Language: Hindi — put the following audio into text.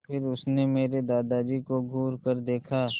फिर उसने मेरे दादाजी को घूरकर देखा